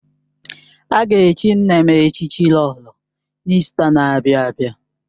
A ga-echi nne m echichi Lolo n'Ista n'abia abịa